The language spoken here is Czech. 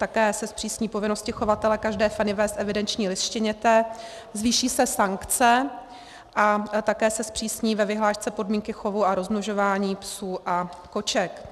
Také se zpřísní povinnosti chovatele každé feny vést evidenční list štěněte, zvýší se sankce a také se zpřísní ve vyhlášce podmínky chovu a rozmnožování psů a koček.